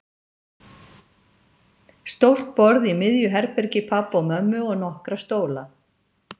Stórt borð í miðju herbergi pabba og mömmu og nokkra stóla.